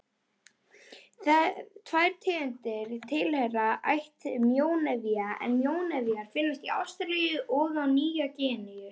Tvær tegundir tilheyra ætt mjónefja en mjónefir finnast í Ástralíu og á Nýju-Gíneu.